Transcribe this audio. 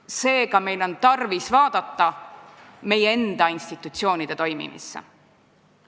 Seega, meil on tarvis vaadata meie enda institutsioonide toimimist.